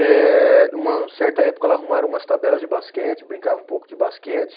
Eh, uma certa época, ela arrumaram umas tabelas de basquete, brincava um pouco de basquete.